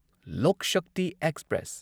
ꯂꯣꯛ Shakti express